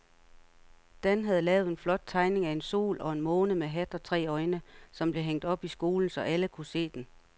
Dan havde lavet en flot tegning af en sol og en måne med hat og tre øjne, som blev hængt op i skolen, så alle kunne se den.